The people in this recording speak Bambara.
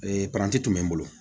Ee paranti tun bɛ n bolo